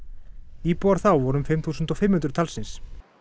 íbúar þá voru um fimm þúsund fimm hundruð talsins